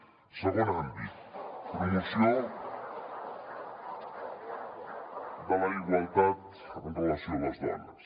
segon àmbit promoció de la igualtat amb relació a les dones